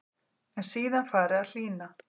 En síðan fari að hlýna.